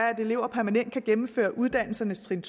at elever permanent kan gennemføre uddannelsernes trin